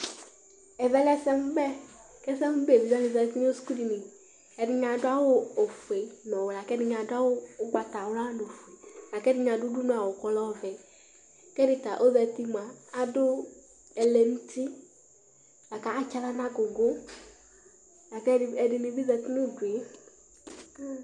Ɛvɛ lɛ ɛsɛmʋbɛ Evidze dini zǝti nʋ sukudini Ɛdɩnɩ adu awu ofue nʋ ɔwɛ akʋ ɛdɩnɩ adʋ awu ugbatawlani, kʋ ɛdɩnɩ adʋ udunuawu kʋ ɔlɛ ɔvɛ Kʋ ɛdɩ ta ozǝti mua, kʋ adʋ ɛlɛnuti akʋ atsaɣla nʋ agugu Ɛdɩnɩ bɩ zǝti nʋ udu yɛ